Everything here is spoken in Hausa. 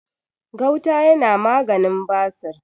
gauta yana maganin basir